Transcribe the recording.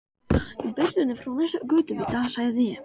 Í birtunni frá næsta götuvita sagði ég